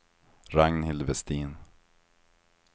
Ragnhild Vestin